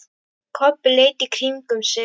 Kobbi leit í kringum sig.